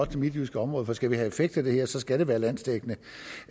det midtjyske område for skal vi have en effekt af det her skal det være landsdækkende